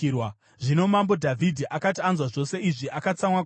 Zvino mambo Dhavhidhi akati anzwa zvose izvi, akatsamwa kwazvo.